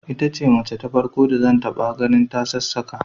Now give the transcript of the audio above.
Ita ce mace ta farko da zan taba gani ta sassaka